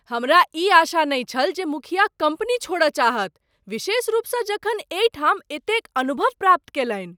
हमरा ई आशा नहि छल जे मुखिया कम्पनी छोड़य चाहत, विशेष रूपसँ जखन एहि ठाम एतेक अनुभव प्राप्त कयलनि ।